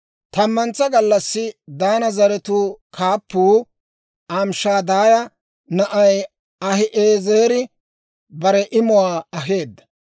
Tammantsa gallassi Daana zaratuu kaappuu Amishadaaya na'ay Ahi'eezeri bare imuwaa aheedda.